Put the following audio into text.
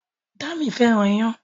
Dámi fẹ́ràn iyán